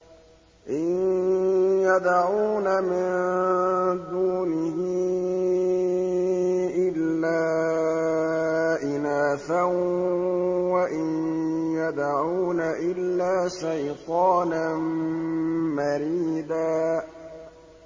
إِن يَدْعُونَ مِن دُونِهِ إِلَّا إِنَاثًا وَإِن يَدْعُونَ إِلَّا شَيْطَانًا مَّرِيدًا